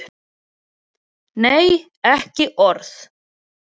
Nei, ekki orð.